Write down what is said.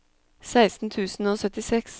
seksten tusen og syttiseks